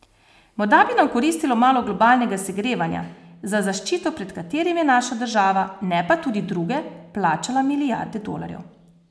Morda bi nam koristilo malo globalnega segrevanja, za zaščito pred katerim je naša država, ne pa tudi druge, plačala milijarde dolarjev.